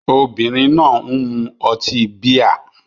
Obìnrin náà ń mu ọtí bíà